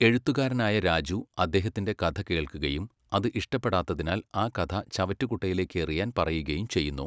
എഴുത്തുകാരനായ രാജു അദ്ദേഹത്തിൻ്റെ കഥ കേൾക്കുകയും അത് ഇഷ്ടപ്പെടാത്തതിനാൽ ആ കഥ ചവറ്റുകുട്ടയിലേക്ക് എറിയാൻ പറയുകയും ചെയ്യുന്നു.